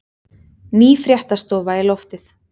Ný fréttastofa í loftið